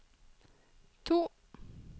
to